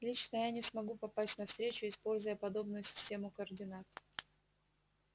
лично я не смогу попасть на встречу используя подобную систему координат